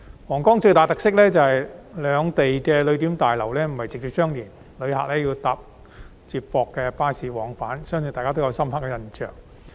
皇崗口岸最大的特色，是兩地的旅檢大樓不是直接相連，旅客要乘搭接駁巴士往返，我相信大家對此都有深刻印象。